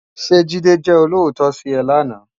Sé Jide jè ólótò si è láná?